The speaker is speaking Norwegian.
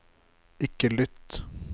ikke lytt